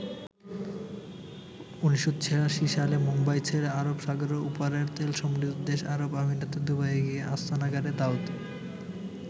১৯৮৬ সালে মুম্বাই ছেড়ে আরব সাগরের ওপারের তেলসমৃদ্ধ দেশ আরব আমিরাতের দুবাইয়ে গিয়ে আস্তানা গাড়ে দাউদ।